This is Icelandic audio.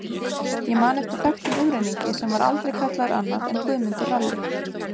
Ég man eftir þekktum umrenningi sem var aldrei kallaður annað en Guðmundur ralli.